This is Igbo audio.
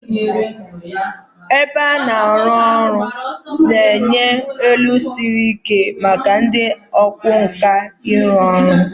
Ebe a na-arụ ọrụ na-enye elu siri ike maka ndị ọkwá nkà ịrụ ọrụ